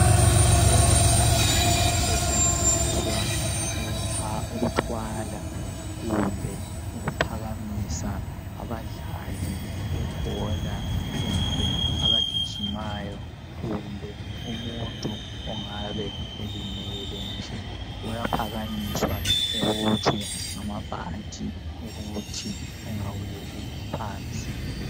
Umbheda osetshenziswa ukuthwala kumbe ukuphakamisa abadlali bebhola, kumbe abagijimayo ,kumbe umuntu ongabe elimele nje . Uyaphakanyiswa ebotshwe ngamabhanti ukuthi engaweli phansi .